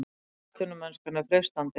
Atvinnumennskan er freistandi